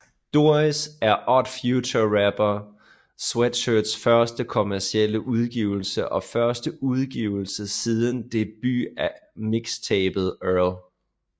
Doris er Odd Future rapper Earl Sweatshirts første kommercielle udgivelse og første udgivelse siden debut mixtapet Earl